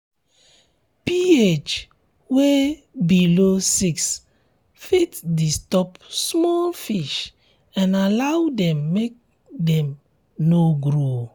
ph wey below six fit um disturb small fish and allow dem um make dem no grow